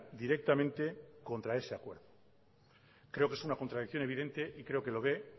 directamente contra ese acuerdo creo que es una contradicción evidente y creo que lo ve